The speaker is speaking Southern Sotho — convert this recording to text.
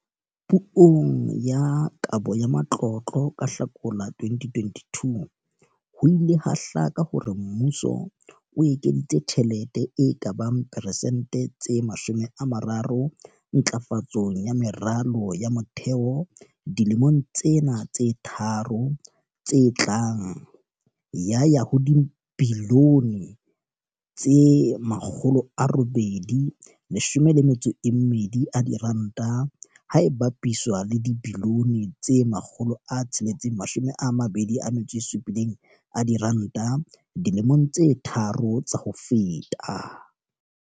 Puong ya Kabo ya Matlotlo ka Hlakola 2022, ho ile ha hlaka hore mmuso o ekeditse tjhelete e ka bang persente tse 30 ntlafatsong ya meralo ya motheo dilemong tsena tse tharo tse tlang ya ya ho dibilione tse R812, ha e bapiswa le dibilione tse R627 dilemong tse tharo tsa ho feta.